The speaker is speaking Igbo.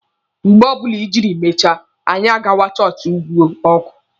Mgbe ọbụla ijiri mechaa, anya àgwà chọọchị ugwu ọkụ.